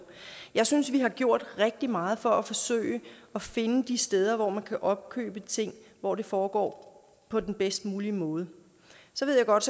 jeg synes vi har gjort rigtig meget for at forsøge at finde de steder hvor man kan opkøbe ting og hvor det foregår på den bedst mulige måde så ved jeg godt